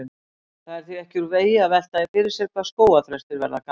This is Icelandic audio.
Það er því ekki úr vegi að velta því fyrir sér hvað skógarþrestir verða gamlir.